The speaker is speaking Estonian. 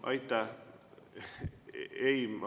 Aitäh!